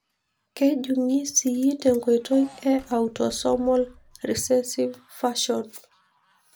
Kejungii sii tenkoitoi e autosomal recessive fashion.